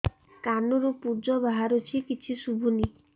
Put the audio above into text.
କାନରୁ ପୂଜ ବାହାରୁଛି କିଛି ଶୁଭୁନି